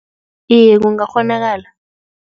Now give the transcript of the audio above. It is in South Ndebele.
Iye, kungakghonakala.